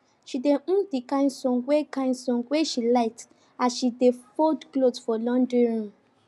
she dey hum the kin songs wey kin songs wey she like as she dey fold cloth for laundry room